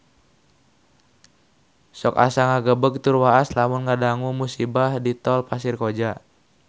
Sok asa ngagebeg tur waas lamun ngadangu musibah di Tol Pasir Koja